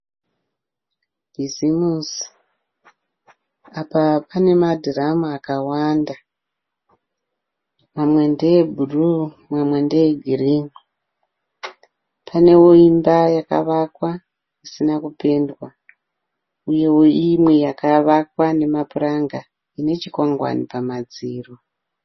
Bhizimusi apa pane madhiramu akawanda. Mamwe ndeebhuruu mamwe ndeegirini. Paneo imba yakavakwa isina kupendwa uyeo imwe yakavakwa namapuranga ine chikwangwani pamadziro.